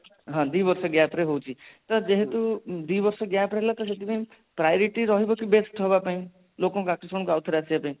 ହଁ ଦି ବର୍ଷ gap ରେ ହୋଉଛି ସିର ଯେହେତୁ ଦି ବର୍ଷ gap ହେଲା ତ ସେଥିପାଇଁ priority ରହିବ ତ ବେଷ୍ଟ ହବ ପାଇଁ ଲୋକଙ୍କ ଆଉ ଥରେ ଆସିବା ପାଇଁ